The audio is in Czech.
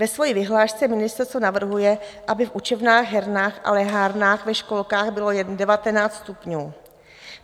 Ve své vyhlášce ministerstvo navrhuje, aby v učebnách, hernách a lehárnách ve školkách bylo jen 19 stupňů.